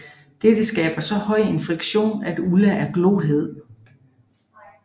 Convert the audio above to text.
Dette skaber så høj en friktion at Ulla er glohed